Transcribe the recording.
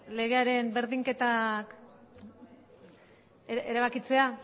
legearen berdinketak erabakitzea